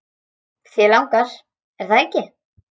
Þig langar, er það ekki?